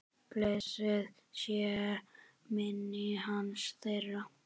Blessuð sé minning hans, þeirra.